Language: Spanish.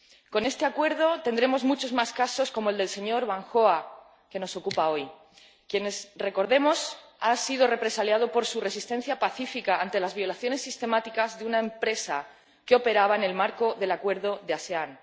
Con este acuerdo tendremos muchos más casos como el del señor Van Hoa que hoy nos ocupa y que, recordemos, ha sido represaliado por su resistencia pacífica ante las violaciones sistemáticas de una empresa que operaba en el marco del acuerdo de la ASEAN.